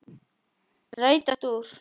Rætast úr?